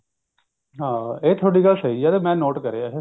ਹਾਂ ਇਹ ਤੁਹਾਡੀ ਗੱਲ ਸਹੀ ਹੈ ਮੈਂ ਨੋਟ ਕਰਿਆ ਇਹ